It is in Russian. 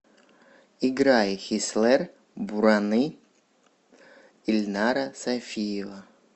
играй хислэр бураны ильнара сайфиева